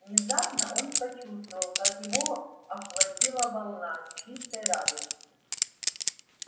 внезапно он почувствовал как его охватила волна чистой радости